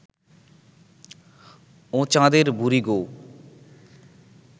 ও চাঁদের বুড়ি গো